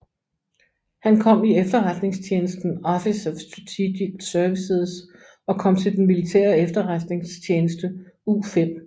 Han kom i efterretningstjenesten Office of Strategic Services og kom til den militære efterretningstjeneste U5